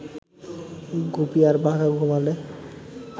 গুপি আর বাঘা ঘুমোলে